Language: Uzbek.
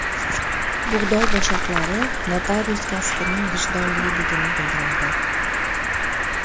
Bug‘doy boshoqlari notarius kasbining vijdonliligini bildiradi.